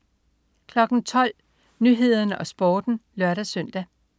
12.00 Nyhederne og Sporten (lør-søn)